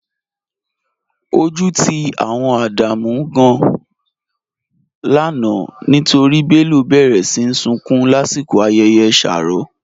Ọju ti awọn Ádámù gàn-an lánà nítorí Bello béré sí súnkún lasikọ̀ ayẹyẹ shárọ̀.